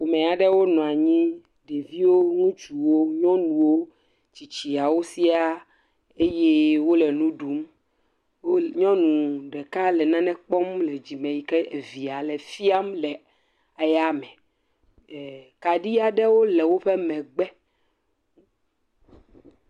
Ame aɖewo nɔ anyi, ɖeviwo, nyɔnuwo, ŋutsuwo, tsitsiawo sɛ̃a eye wole nu ɖum. Nyɔnu ɖeka le nane kpɔm le dzime yike evia le fiam le eya me, eh kaɖi aɖewo le woƒe megbe